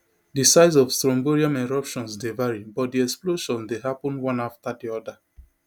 di size of strombolian eruptions dey vary but di explosions dey happun one afta di oda